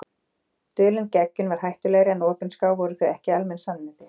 Dulin geggjun var hættulegri en opinská- voru það ekki almenn sannindi?